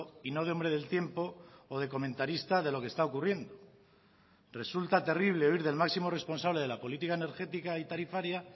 y no de hombre del tiempo o de comentarista de lo que está ocurriendo resulta terrible oír del máximo responsable de la política energética y tarifaria